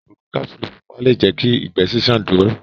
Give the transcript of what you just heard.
Ogun kapsulu pupa le jẹ kí ìgbé ṣiṣan dúró.